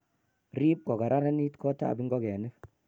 Rip kokararanit gotab ngokenik.